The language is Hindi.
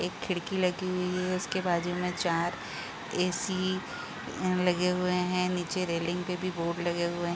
एक खिड़की लगी हुई है इसके बाजु में चार ऐ.सी. अ लगे हुए हैं नीचे रैलिंग पे भी बोर्ड लगे हुए --